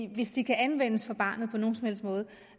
hvis de kan anvendes for barnet på nogen som helst måde